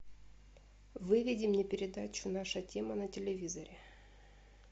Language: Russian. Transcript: выведи мне передачу наша тема на телевизоре